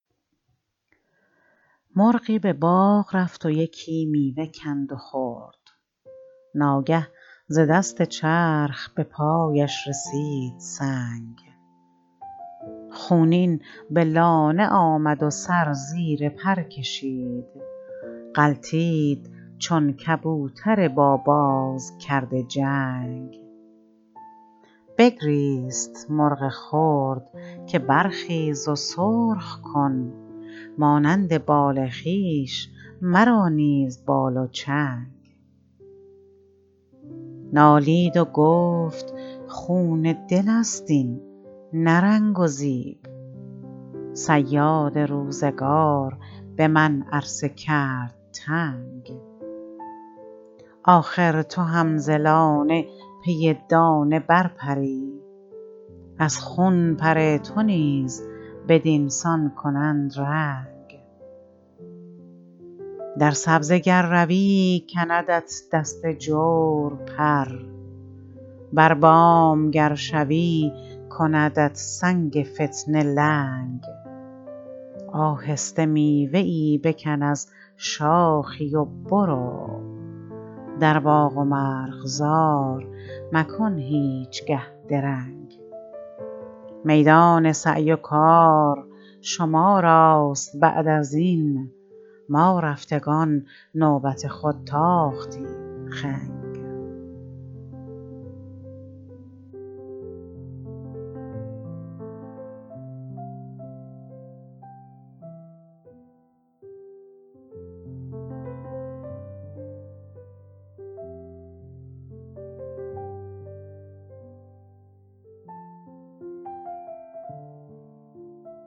مرغی به باغ رفت و یکی میوه کند و خورد ناگه ز دست چرخ به پایش رسید سنگ خونین به لانه آمد و سر زیر پر کشید غلتید چون کبوتر با باز کرده جنگ بگریست مرغ خرد که برخیز و سرخ کن مانند بال خویش مرا نیز بال و چنگ نالید و گفت خون دلست این نه رنگ و زیب صیاد روزگار به من عرصه کرد تنگ آخر تو هم ز لانه پی دانه برپری از خون پر تو نیز بدینسان کنند رنگ در سبزه گر روی کندت دست جور پر بر بام گر شوی کندت سنگ فتنه لنگ آهسته میوه ای بکن از شاخی و برو در باغ و مرغزار مکن هیچگه درنگ میدان سعی و کار شما راست بعد ازین ما رفتگان به نوبت خود تاختیم خنگ